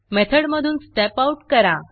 मेथडमधून Step Outस्टेप out करा